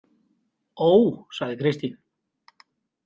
Ó, sagði Kristín.